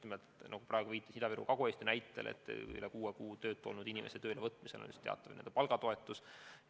Ma viitasin Ida-Virumaa ja Kagu-Eesti näitel, et üle kuue kuu töötu olnud inimese tööle võtmisel makstakse teatavat palgatoetust.